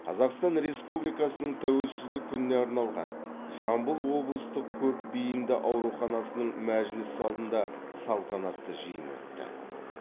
қазақстан республикасының тәуелсіздік күніне арналған жамбыл облыстық көпбейінді ауруханасының мәжіліс залында салтанатты жиын өтті